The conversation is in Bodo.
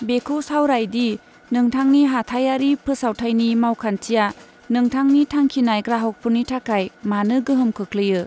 बेखौ सावराय दि नोंथांनि हाथाइआरि फोसावथाइनि मावखान्थिया नोंथांनि थांखिनाय ग्राहकफोरनि थाखाय मानो गोहोम खोख्लैयो।